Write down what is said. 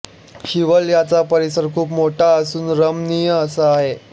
शिवलयाचा परिसर खूप मोठा असून रमणीय असा आहे